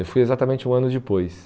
Eu fui exatamente um ano depois.